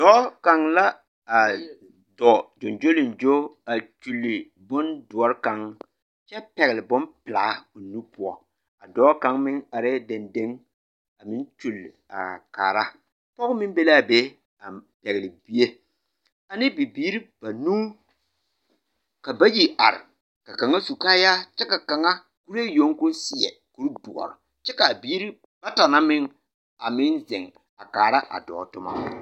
Dɔɔ kaŋ la a dɔɔ ɡyoɡyoleŋɡyo a kyuli bondoɔre kaŋ kyɛ pɛɡele bompelaa o nu poɔ a dɔɔ kaŋ meŋ arɛɛ dendeŋ a meŋ kyuli a are kaara pɔɡe meŋ be la a be a pɛɡele bie ane bibiiri banuu ka bayi are ka kaŋa su kaayare kyɛ ka kaŋa kuree yoŋ ka o seɛ kurdoɔr kyɛ ka a biiri bata meŋ zeŋ a kaara a dɔɔ tomɔ.